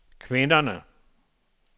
kvinderne